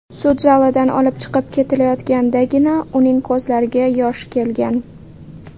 Sud zalidan olib chiqib ketilayotgandagina, uning ko‘zlariga yosh kelgan.